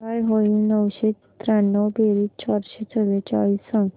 काय होईल नऊशे त्र्याण्णव बेरीज चारशे चव्वेचाळीस सांग